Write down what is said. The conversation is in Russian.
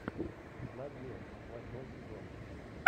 на дне восьмой сезон